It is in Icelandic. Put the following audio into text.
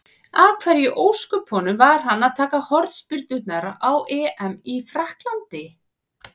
Af hverju í ósköpunum var hann að taka hornspyrnurnar á EM í Frakklandi?